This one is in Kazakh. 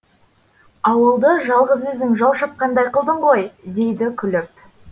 ауылды жалғыз өзің жау шапқандай қылдың ғой дейді күліп